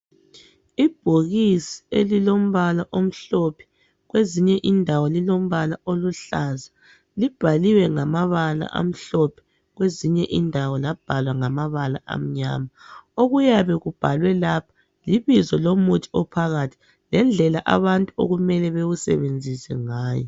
Ibhokisi elilombala omhlophe kwezinye indawo lilombala oluhlaza libhaliwe ngamabala amhlophe kwezinye indawo labhalwa ngamabala amnyama okuyabe kubhalwe lapha libizo lomuthi ophakathi lendlela abantu okumele bewusebenzise ngayo.